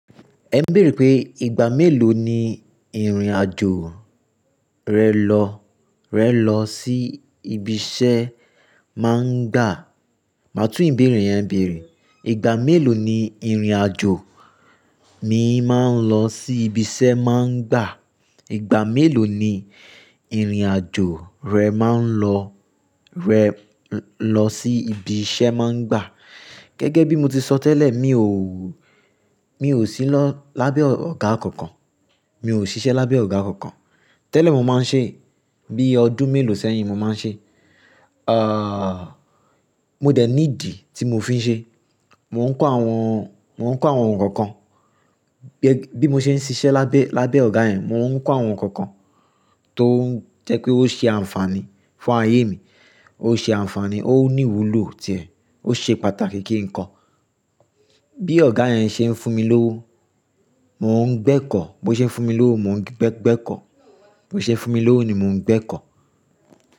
Ẹ ń béèrè pé ìgbà mélòó ni ìrìn-àjò rẹ lọ, rẹ lọ sí ibi iṣẹ́ máa ń gbà. Màá tún ìbéèrè yẹn béèrè. Ìgbà mélòó ni ìrìn àjò mi máa ń lọ sí ibi iṣẹ́ máa ń gbà? Ìgbà mélòó ni ìrìn-àjò rẹ má ń lọ, rẹ lọ sí ibi iṣẹ́ má ń gbà? Gẹ́gẹ́ bí mo ti sọ tẹ́lẹ̀, mi ò, mi ò sí lọ lábẹ́ ọ̀gá kankan. Mi ò ṣiṣẹ́ lábẹ́ ọ̀gá kankan. Tẹ́lẹ̀ mo máa ń ṣe, bí ọdún mélòó sẹ́yìn mo máa ń ṣe, ah, mo dẹ̀ ní ìdí tí mo fi ń ṣe. Mò ń kọ́ àwọn, mò ń kọ́ àwọn ohun kankan. Bí mo ṣe ń ṣiṣẹ́ lábẹ́, lábẹ́ ọ̀gá yẹn, mò ń kọ́ àwọn nkankan tó ń jẹ́ pé ó ṣe àǹfààní fún ayé mi. Ó ṣe àǹfààní, ó ní ìwúlò ti é, ó ṣe pàtàkì kí n kọ́. Bí ọ̀gá yẹn ṣe ń fún mi lówó, mò ń gbẹ́kọ̀. Bí ó ṣe ń fún mi lówó, mò ń gbẹ́kọ̀. Bí ó ṣe ń fún mi lówó ni mò ń gbẹ́kọ̀